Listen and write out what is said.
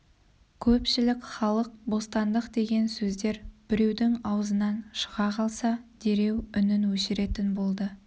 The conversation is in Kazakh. көпшілік халық бостандық деген сөздер біреудің аузынан шыға қалса дереу үнін өшіретін болды